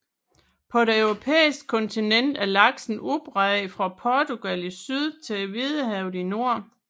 På det europæiske kontinent er laksen udbredt fra Portugal i syd til Hvidehavet i nord